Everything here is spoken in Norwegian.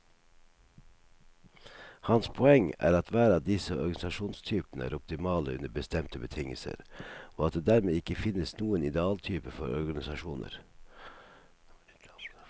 Hans poeng er at hver av disse organisasjonstypene er optimale under bestemte betingelser, og at det dermed ikke finnes noen idealtype for organisasjoner.